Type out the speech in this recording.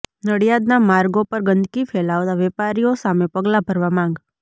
નડિયાદના માર્ગો પર ગંદકી ફેલાવતા વેપારીઓ સામે પગલા ભરવા માંગ